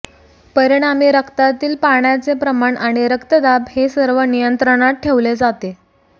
परिणामी रक्तातील पाण्याचे प्रमाण आणि रक्तदाब हे सर्व नियंत्रणात ठेवले जाते